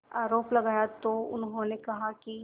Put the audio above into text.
आरोप लगाया तो उन्होंने कहा कि